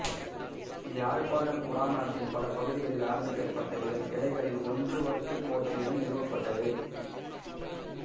யாழ்ப்பாணக் குடாநாட்டின் பல பகுதிகளில் ஆரம்பிக்கப்பட்ட இதன் கிளைகளில் ஒன்று வட்டுக்கோட்டையிலும் நிறுவப்பட்டது